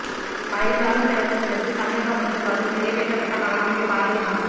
மறைந்தாலும் பிறந்த தினத்தில் தமிழக அமைச்சர்களால் நிறைவேற்றபட்ட மகாகவி பாரதியின் ஆசை